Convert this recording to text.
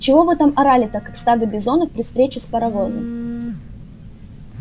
чего вы там орали-то как стадо бизонов при встрече с паровозом